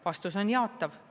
Vastus on jaatav.